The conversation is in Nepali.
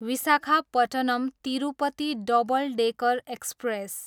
Visakhapatnam, Tirupati double decker express